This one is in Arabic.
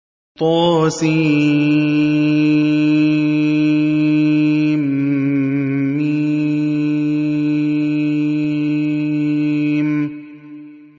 طسم